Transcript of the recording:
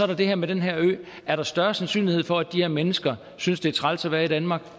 der det her med den her ø er der større sandsynlighed for at de her mennesker synes det er træls at være i danmark